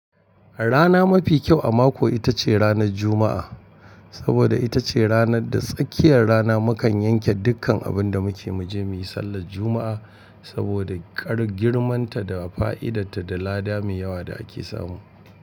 Rana mafi kyau a mako ita ce ranar Juma'a. Saboda ita ce ranar da tsakiyar rana mukan yanke dukkan abun da muke muje muyi sallar Juma'a. Saboda kar girman ta da fa'idar ta da lada mai yawa da ake samu.